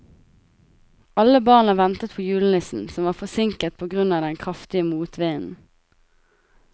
Alle barna ventet på julenissen, som var forsinket på grunn av den kraftige motvinden.